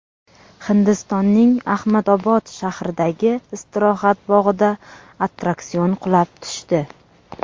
Hindistonning Ahmadobod shahridagi istirohat bog‘ida attraksion qulab tushdi.